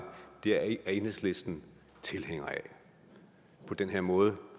det er enhedslisten tilhænger af den måde